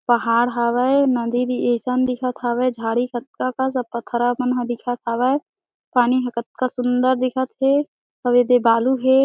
पहाड़ हवय नदी भी अईसन दिखत हवे झाड़ी कतका कस अऊ पथरा अकन ह दिखत हवय पानी ह कतका सुंदर दिखत हे अऊ एदे बालू हे।